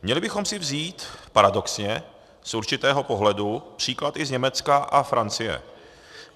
Měli bychom si vzít, paradoxně, z určitého pohledu příklad i z Německa a Francie.